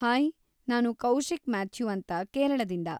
Hi, ನಾನು Kaushik Mathew ಅಂತ ಕೇರಳದಿಂದ.